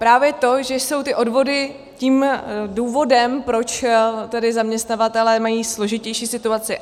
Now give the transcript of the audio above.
Právě to, že jsou ty odvody tím důvodem, proč tedy zaměstnavatelé mají složitější situaci.